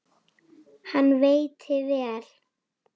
Hann veitti vel